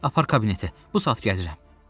Apar kabinetə, bu saat gəlirəm.